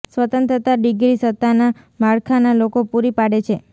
સ્વતંત્રતા ડિગ્રી સત્તાના માળખા ના લોકો પૂરી પાડે છે